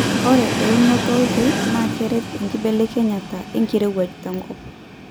ore eunoto olkeek naa keret enkibelekenyata enkirowuaj tenkop